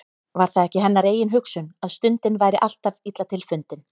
Var það ekki hennar eigin hugsun, að stundin væri alltaf illa til fundin.